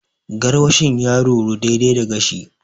Gaarwashin ya ruru, daidai da gashi.